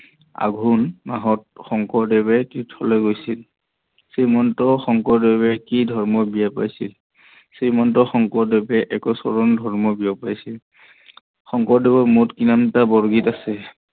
আঘোন মাহত শংকৰদেৱ তীৰ্থলৈ গৈছিল। শ্ৰীমন্ত শংকৰদেৱে কি ধৰ্ম ব্যয় কৰিছিল? শ্ৰীমন্ত শংকৰদেৱে একচৰন ধৰ্ম ব্যয় কৰিছিল। শংকৰদেৱৰ মুঠ কিমানটা বৰগীত আছে?